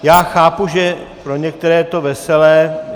Já chápu, že pro některé je to veselé.